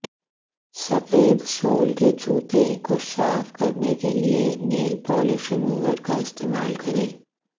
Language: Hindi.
सफेद सोल के जूते को साफ करने के लिए नेल पॉलिश रिमूवर का इस्तेमाल करें